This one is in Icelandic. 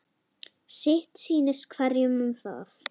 Sitt sýnist hverjum um það.